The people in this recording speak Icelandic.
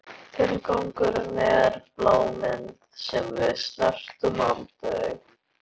Tilgangur, er það bláminn sem við snertum aldrei?